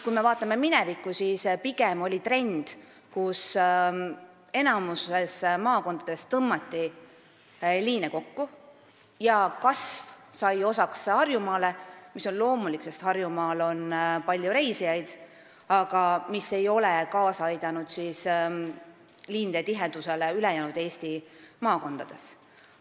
Kui me vaatame minevikku, siis pigem oli enamikus maakondades trend tõmmata liine kokku ja kasv sai osaks vaid Harjumaale – see on loomulik, sest Harjumaal on palju reisijaid –, aga see ei ole kaasa aidanud liinide tihedusele ülejäänud Eesti maakondades.